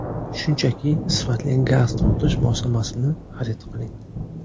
Shunchaki, sifatli gaz tortish moslamasini xarid qiling.